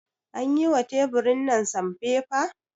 An yi wa teburin nan sanfefa?